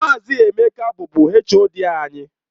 Maazị Emeka bụbu HOD anyị.